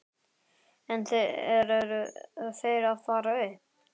En eru þeir að fara upp?